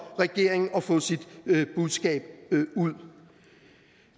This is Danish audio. regeringen at få sit budskab ud